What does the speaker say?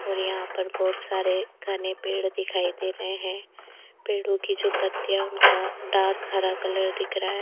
और यहां पर बहुत सारे घने पेड़ दिखाई दे रहे हैं पेड़ों की जो पत्तियां उनका डार्क हरा कलर दिख रहा है।